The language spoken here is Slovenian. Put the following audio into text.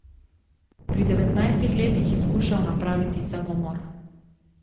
Pri devetnajstih letih je skušal napraviti samomor.